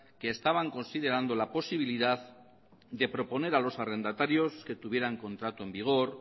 que estaban considerando la posibilidad de proponer a los arrendatarios que tuvieran contrato en vigor